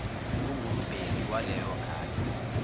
ongumbheki waleyo ngane